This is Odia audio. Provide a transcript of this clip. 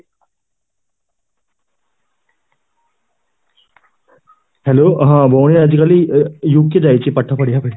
hello ହଁ.ଭଉଣୀ ଆଜି କାଲି UK ଯାଇଛି ପାଠ ପଢିବାକୁ